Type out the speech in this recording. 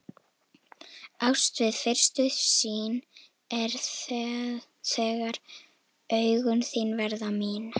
Ást við fyrstu sýn er það þegar augun þín verða mín.